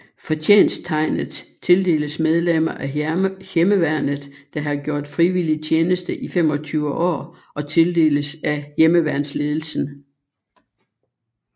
Fortjensttegnet tildeles medlemmer af Hjemmeværnet der har gjort frivillig tjeneste i 25 år og tildeles af Hjemmeværnsledelsen